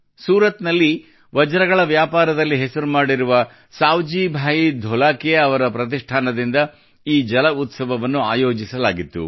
ಸೂರತ್ ನಲ್ಲಿ ವಜ್ರಗಳ ವ್ಯಾಪಾರದಲ್ಲಿ ಹೆಸರು ಮಾಡಿರುವ ಸಾವ್ಜಿ ಭಾಯಿ ಧೋಲಾಕಿಯಾ ಅವರ ಪ್ರತಿಷ್ಠಾನದಿಂದ ಈ ಜಲಉತ್ಸವವನ್ನು ಆಯೋಜಿಸಲಾಗಿತ್ತು